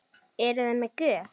Eruði með gjöf?